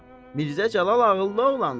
Mirzə Cəlal ağıllı oğlandır.